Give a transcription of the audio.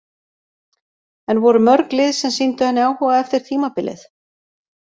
En voru mörg lið sem sýndu henni áhuga eftir tímabilið?